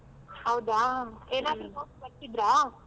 ಹೌದಾ. notes ಬರ್ಸಿದ್ರಾ?